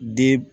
Den